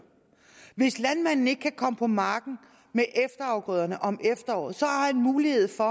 hvis landmanden ikke kan komme på marken med efterafgrøderne om efteråret har han mulighed for